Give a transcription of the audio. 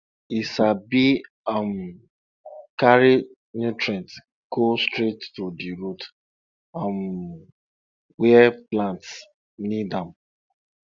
e sabi um carry nutrients go straight to di root um where plants need am